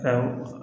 Awɔ